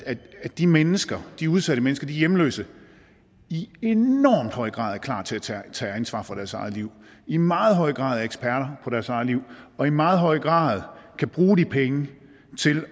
de mennesker de udsatte mennesker de hjemløse i enormt høj grad er klar til til at tage ansvar for deres eget liv i meget høj grad er eksperter på deres eget liv og i meget høj grad kan bruge de penge til